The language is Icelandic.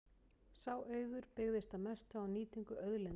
Sá auður byggðist að mestu á nýtingu auðlinda.